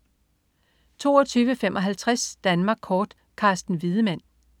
22.55 Danmark Kort. Carsten Wiedemann